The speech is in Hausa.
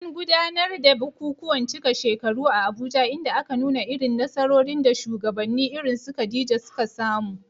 An gudanar da bukukuwan cika shekaru a Abuja inda aka nuna irin nasarorin da shugabanni irin su Khadija suka samu.